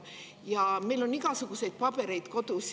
Ja meil on igasuguseid pabereid kodus.